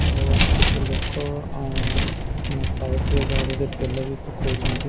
ଆଉ କିଛି ଲୋକ ଅ ସାଇଟ ରେ ଗାଡ଼ିରେ ତେଲ ବି ପକଉଛନ୍ତି।